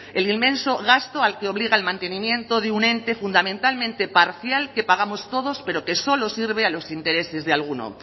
el inmenso gasto al que obliga el mantenimiento de un ente fundamentalmente parcial que pagamos todos pero que solo sirve a los intereses de alguno